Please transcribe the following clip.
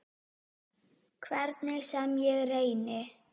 Hvernig sem ég reyni.